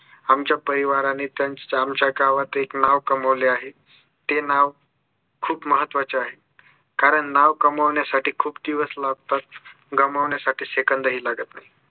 आमच्या परिवाराने गावात एक नाव कमवले आहे ते नाव खूप महत्वाचे आहे कारण नाव कमवण्यासाठी खूप दिवस लागतात गमवण्यासाठी सेकंदही लागत नाही